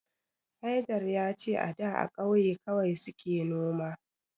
Haidar ya ce a da a kauye kawai suke noma